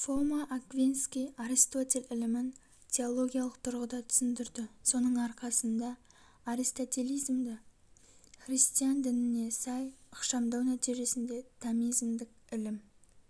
фома аквинский аристотель ілімін теологиялык тұрғыда түсіндірді соның арқасында аристотелизмді христиан дініне сай ықшамдау нәтижесінде томизмдік ілім